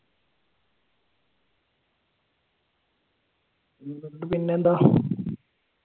പിന്നെന്താ?